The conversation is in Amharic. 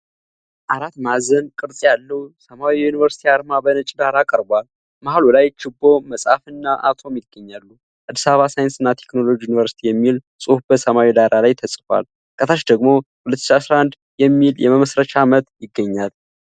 አራት ማዕዘን ቅርጽ ያለው ሰማያዊ የዩኒቨርሲቲ አርማ በነጭ ዳራ ቀርቧል። መሃሉ ላይ ችቦ፣ መጽሐፍ እና አቶም ይገኛሉ። “አዲስ አበባ ሳይንስና ቴክኖሎጂ ዩኒቨርስቲ” የሚል ጽሑፍ በሰማያዊ ዳራ ላይ ተጽፏል። ከታች ደግሞ “2011” የሚል የመመሥረቻ ዓመት ይገኛል።